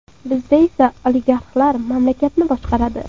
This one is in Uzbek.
Bizda esa oligarxlar mamlakatni boshqaradi.